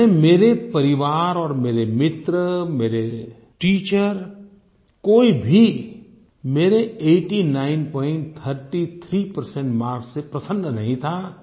यानि मेरे परिवार और मेरे मित्र मेरे टीचर कोई भी मेरे 8933 परसेंट मार्क्स से प्रसन्न नहीं था